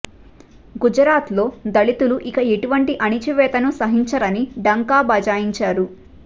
గుజరాత్లో దళితులు ఇక ఎటువంటి అణచివేతను సహించరని ఢంకా బజాయిం చారు